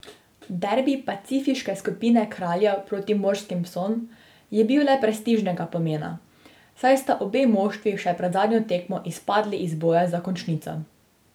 Derbi pacifiške skupine kraljev proti morskim psom je bil le prestižnega pomena, saj sta obe moštvi še pred zadnjo tekmo izpadli iz bojev za končnico.